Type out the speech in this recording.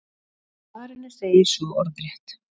Í svarinu segir svo orðrétt: